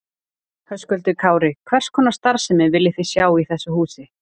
Höskuldur Kári: Hvers konar starfsemi viljið þið sjá í þessu húsi?